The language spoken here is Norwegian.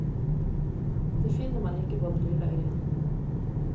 Det finner man ikke på den lille øyen.